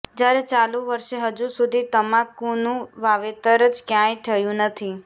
જયારે ચાલુ વર્ષે હજૂ સુધી તમાકુનું વાવેતર જ કયાંય થયું નથી